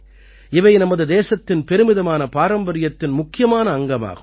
இவை நமது தேசத்தின் பெருமிதமான பாரம்பரியத்தின் முக்கியமான அங்கமாகும்